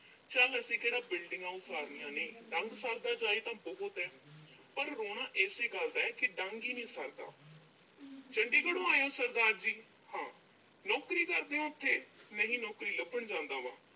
ਚੱਲ ਅਸੀਂ ਕਿਹੜਾ buildings ਉਸਾਰਨੀਆਂ ਨੇਂ, ਡੰਗ ਸਰਦਾ ਜਾਏ ਤਾਂ ਬਹੁਤ ਆ। ਪਰ ਰੋਣਾ ਏਸੇ ਗੱਲ ਦਾ ਕਿ ਡੰਗ ਈ ਨੀਂ ਸਰਦਾ। ਚੰਡੀਗੜ੍ਹੋਂ ਆਏ ਓਂ ਸਰਦਾਰ ਜੀ। ਹਾਂ। ਨੌਕਰੀ ਕਰਦੇ ਓਂ ਓਥੇ। ਨਹੀਂ, ਨੌਕਰੀ ਲੱਭਣ ਜਾਂਦਾ ਵਾਂ।